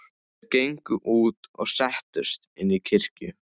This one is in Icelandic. Þeir gengu út og settust inn í kirkju.